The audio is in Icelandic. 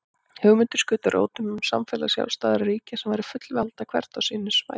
Hugmyndir skutu rótum um samfélag sjálfstæðra ríkja sem væru fullvalda hvert á sínu svæði.